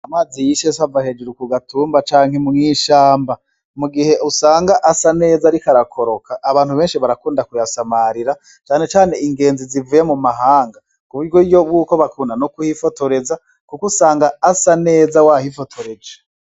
Amazi yisesa ava hejuru ku gatumba canke mwishamba, mu gihe usanga asa neza ariko arakoroka abantu benshi barakunda kuyasamarira cane cane ingenzi zivuye mu mahanga kuburyo bwuko bakunda kuhifotoreza kuko usanga asa neza wa hifotoreje.